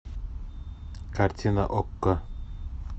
картина окко